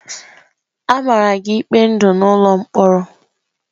A mara gị ikpe ndụ n'ụlọ mkpọrọ!